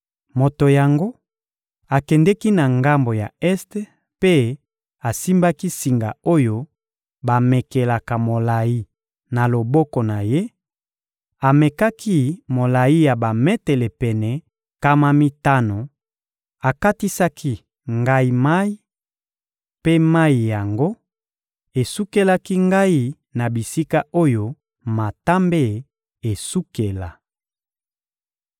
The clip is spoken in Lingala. Moto yango akendeki na ngambo ya este mpe asimbaki singa oyo bamekelaka molayi na loboko na ye; amekaki molayi ya bametele pene nkama mitano, akatisaki ngai mayi, mpe mayi yango esukelaki ngai na bisika oyo matambe esukela.